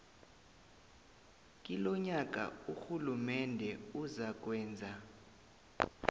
kilonyaka urhulumende uzakwenza